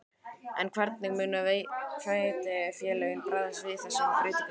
En hvernig munu sveitarfélögin bregðast við þessum breytingum?